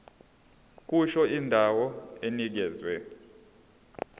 kusho indawo enikezwe